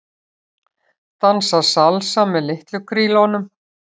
Dansa salsa með litlu krílunum